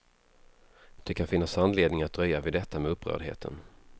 Det kan finnas anledning att dröja vid detta med upprördheten.